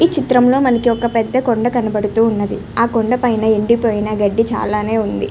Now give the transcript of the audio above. ఈ చిత్రం లో మనకి కొండ కనపడుతూ ఉన్నది. ఆ కొండ పైన ఎండి పోయిన గడ్డి చాలానే ఉంది.